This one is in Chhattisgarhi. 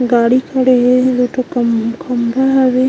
गाड़ी खड़े हे दू ठो खम्भा हवे।